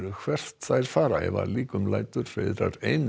hvert þær fara ef að líkum lætur hreiðrar ein